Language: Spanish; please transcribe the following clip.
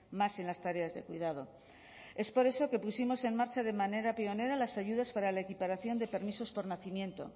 más en las tareas de cuidado es por eso que pusimos en marcha de manera pionera las ayudas para la equiparación de permisos por nacimiento